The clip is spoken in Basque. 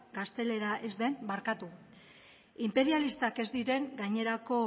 gaztelera ez den barkatu inperialistak ez diren gainerako